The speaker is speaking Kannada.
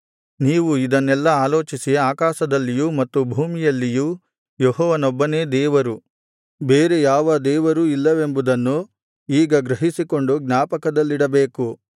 ನೀವು ಇದನ್ನೆಲ್ಲಾ ಆಲೋಚಿಸಿ ಆಕಾಶದಲ್ಲಿಯೂ ಮತ್ತು ಭೂಮಿಯಲ್ಲಿಯೂ ಯೆಹೋವನೊಬ್ಬನೇ ದೇವರು ಬೇರೆ ಯಾವ ದೇವರೂ ಇಲ್ಲವೆಂಬುವುದನ್ನು ಈಗ ಗ್ರಹಿಸಿಕೊಂಡು ಜ್ಞಾಪಕದಲ್ಲಿಡಬೇಕು